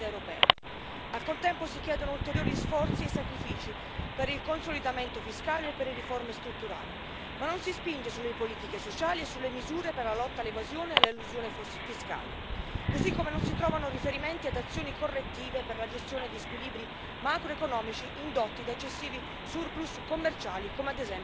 Al contempo, si chiedono ulteriori sforzi e sacrifici per il consolidamento fiscale e per le riforme strutturali, ma non si spinge sulle politiche sociali e sulle misure per la lotta all'evasione e all'elusione fiscale, così come non si trovano riferimenti ad azioni correttive per la gestione di squilibri macroeconomici indotti da eccessivi surplus commerciali, come ad esempio in Germania.